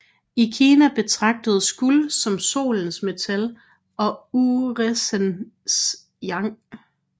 I Kina betragtedes guld som Solens metal og uressensen yang